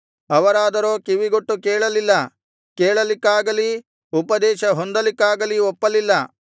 ಅವರಾದರೋ ಕಿವಿಗೊಟ್ಟು ಕೇಳಲಿಲ್ಲ ಕೇಳಲಿಕ್ಕಾಗಲಿ ಉಪದೇಶ ಹೊಂದಲಿಕ್ಕಾಗಲಿ ಒಪ್ಪಲಿಲ್ಲ